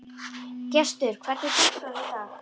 Gestur, hvernig er dagskráin í dag?